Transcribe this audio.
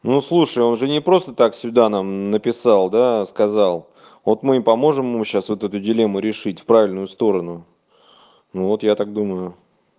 ну слушай он же не просто так сюда нам написал да сказал вот мы и поможем ему сейчас вот эту дилемму решить в правильную сторону ну вот я так думаю